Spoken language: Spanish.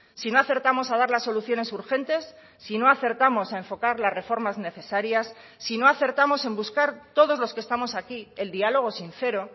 si no acertamos a dar las soluciones urgentes si no acertamos a enfocar las reformas necesarias si no acertamos en buscar todos los que estamos aquí el diálogo sincero